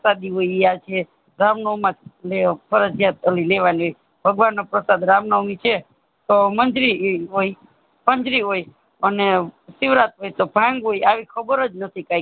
પ્રસાદી યો ઈ તૈયાર છે રામનામવા લ્યો ફરજીયાત ઓલી લેવા ની હોય ભગવાન નો પ્રસાદ રામનમવી છે તો મંજરી ઈ હોય મંજરી હોય અને શિવરાતી તો ભાંગ હોય આવી ખબર જ નથી કાંઈક